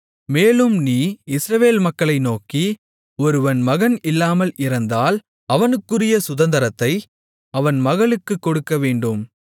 மேலும் நீ இஸ்ரவேல் மக்களை நோக்கி ஒருவன் மகன் இல்லாமல் இறந்தால் அவனுக்குரிய சுதந்தரத்தை அவன் மகளுக்குக் கொடுக்கவேண்டும்